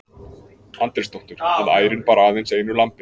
Andrésdóttur, að ærin bar aðeins einu lambi.